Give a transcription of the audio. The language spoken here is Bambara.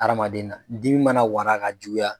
Adamaden na dimi mana wara ka juguya